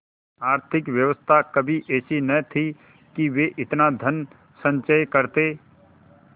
आर्थिक व्यवस्था कभी ऐसी न थी कि वे इतना धनसंचय करते